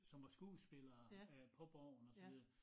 Som var skuespillere øh på borgen og så videre